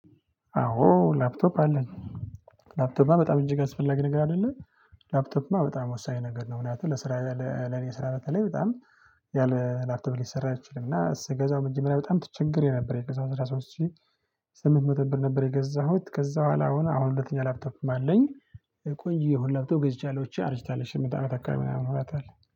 አዎ ላፕቶፕ አለኝ። ላፕቶፕ በጣም እንጂ የሚያስፈልግ ነገር አይደለም። ላፕቶፕ በጣም ወሳኝ ነገር ነው። ምክንያቱም ለስራ ለኔ ስራ በተለይ በጣም ያለ ላፕቶፕ ሊሰራ አይችልምና። ስገዛው መጀመሪያ በጣም ትቸግሬ ነበር የገዛውት 13 ሺህ ስምንት መቶ ብር ነበር። የገዛሁት ከዛ በኋላ ሆነ አሁን ሁለተኛ ላብተብም አለኝ። ቆይ የሆነ ለብቶ ገዝቻለሁ አርጅታለች ስምንት አመት አካባቢ ምናምን ሆኗታል።